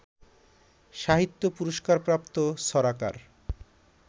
সাহিত্য পুরস্কারপ্রাপ্ত ছড়াকার